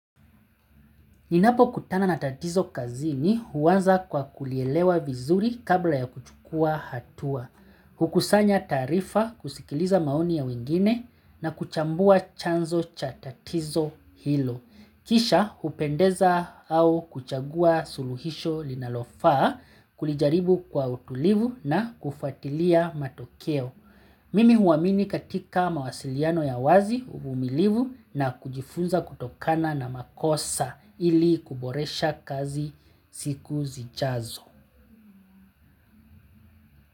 Ninapokutana na tatizo kazini huanza kwa kulielewa vizuri kabla ya kuchukua hatua. Hukusanya taarifa kusikiliza maoni ya wengine na kuchambua chanzo cha tatizo hilo. Kisha hupendeza au kuchagua suluhisho linalofaa kulijaribu kwa utulivu na kufuatilia matokeo. Mimi huamini katika mawasiliano ya wazi uvumilivu na kujifunza kutokana na makosa. Ili kuboresha kazi siku zijazo.